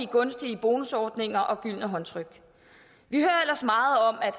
gunstige bonusordninger og gyldne håndtryk vi hører ellers meget om at